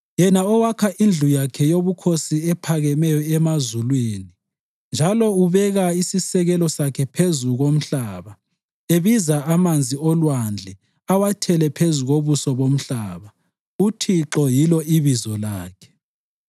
yena owakha indlu yakhe yobukhosi ephakemeyo emazulwini njalo ubeka isisekelo sakhe phezu komhlaba, ebiza amanzi olwandle awathele phezu kobuso bomhlaba, uThixo yilo ibizo lakhe.